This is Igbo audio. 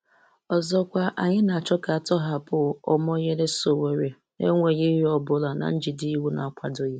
Ọzọkwa, anyị na-achọ ka a tọhapụ Omoyele Sowore n'enweghị ihe ọ bụla na njide iwu na-akwado.